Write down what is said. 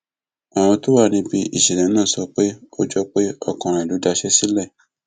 àwọn tó wà níbi ìṣẹlẹ náà sọ pé ó jọ pé ọkàn rẹ ló daṣẹ sílẹ